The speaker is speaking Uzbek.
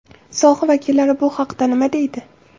Soha vakillari bu haqda nima deydi?